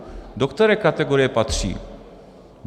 Do které kategorie patří?